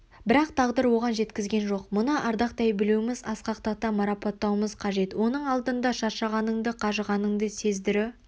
бірақ тағдыр оған жеткізген жоқ мұны ардақтай білуіміз асқақтата марапаттауымыз қажет оның алдында шаршағанынды қажығаныңды сездірү